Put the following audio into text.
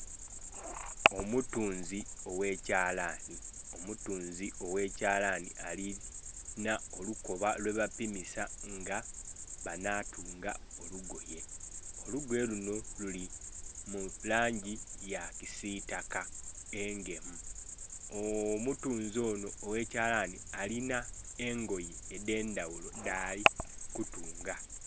Omutunzi oghe kyalanhi, omutunzi oghe kyalanhi alinha olukoba lwe bapimisa nga bana tunga olugoye. Olugoye lunho lili mulangi ya kisitaka, engemu. Omutunzi onho oghe kyalanhi alinha engoye edhendhaghulo dhali kutunga.